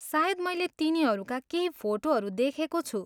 सायद मैले तिनीहरूका केही फोटोहरू देखेको छु।